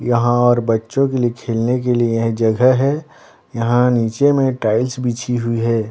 यहाँ और बच्चो के लिए खेलने के लिए यह जगह है यहाँ नीचे में टाइल्स बीछी हुई है।